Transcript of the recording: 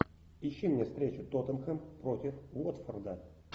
ищи мне встречу тоттенхэм против уотфорда